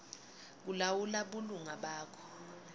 kulawula bulunga bakho